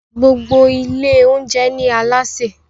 gbogbo Ilé oúnjẹ ní Alásè